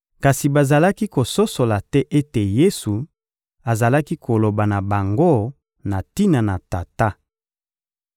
Kasi bazalaki kososola te ete Yesu azalaki koloba na bango na tina na Tata.